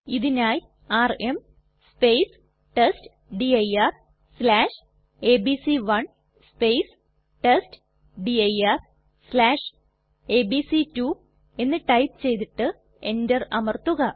ഇതിനായി ആർഎം testdirഎബിസി1 testdirഎബിസി2 എന്ന് ടൈപ്പ് ചെയ്തിട്ട് എന്റർ അമർത്തുക